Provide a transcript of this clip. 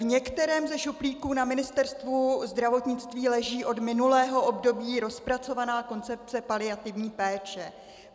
V některém ze šuplíků na Ministerstvu zdravotnictví leží od minulého období rozpracovaná koncepce paliativní péče.